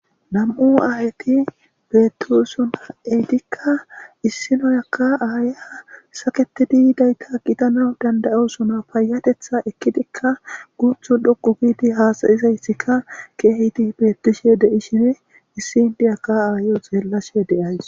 nam7u aahyti beettisuna eydikka issinoyakka aaya saketididayta gitana dandayosuna payatetha ekkidikka guthu dhoqu giiti haasayizaysika keehiti beettishe de7i shine issi ndiyaka aayo xeellashe deyays